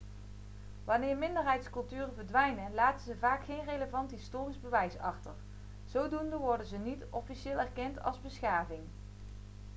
wanneer minderheidsculturen verdwijnen laten ze vaak geen relevant historisch bewijs achter zodoende worden ze niet officieel erkend als beschavingen